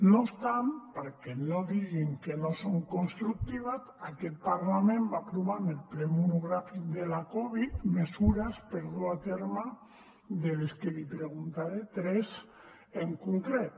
no obstant perquè no diguin que no són constructives aquest parlament va aprovar en el ple monogràfic de la covid mesures per dur a terme de les que li’n preguntaré tres en concret